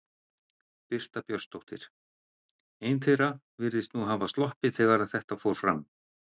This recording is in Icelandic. Birta Björnsdóttir: Ein þeirra virðist nú hafa sloppið þegar að þetta fór fram?